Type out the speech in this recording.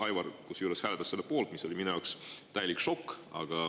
Aivar kusjuures hääletas selle poolt, mis oli minu jaoks täielik šokk.